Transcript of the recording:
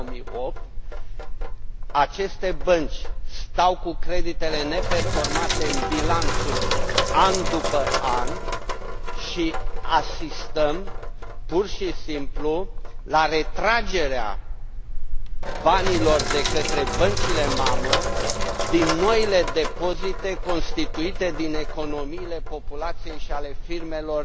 2008. Aceste bănci stau cu creditele neperformante în bilanțuri an după an și asistăm, pur și simplu, la retragerea banilor de către băncile mamă din noile depozite constituite din economiile populației și ale firmelor